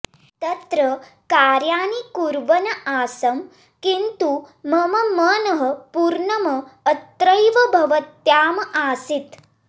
तत्र कार्याणि कुर्वन् आसम् किन्तु मम मनः पूर्णम् अत्रैव भवत्याम् आसीत्